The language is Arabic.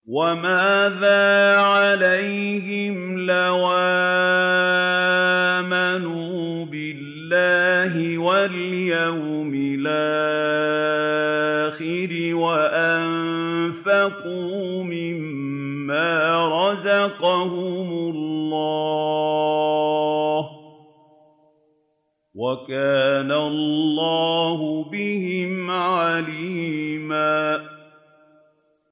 وَمَاذَا عَلَيْهِمْ لَوْ آمَنُوا بِاللَّهِ وَالْيَوْمِ الْآخِرِ وَأَنفَقُوا مِمَّا رَزَقَهُمُ اللَّهُ ۚ وَكَانَ اللَّهُ بِهِمْ عَلِيمًا